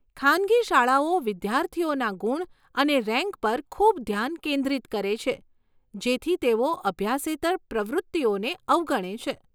ખાનગી શાળાઓ વિદ્યાર્થીઓના ગુણ અને રેન્ક પર ખૂબ ધ્યાન કેન્દ્રિત કરે છે જેથી તેઓ અભ્યાસેતર પ્રવૃત્તિઓને અવગણે છે.